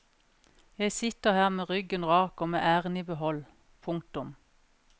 Jeg sitter her med ryggen rak og med æren i behold. punktum